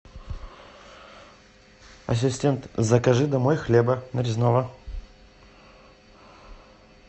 ассистент закажи домой хлеба нарезного